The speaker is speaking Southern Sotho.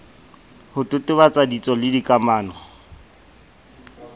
ho totobatsa ditso le dikamano